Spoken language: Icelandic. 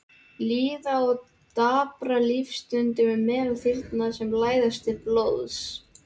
Líða og daprar lífsstundir meðal þyrna sem læsast til blóðs.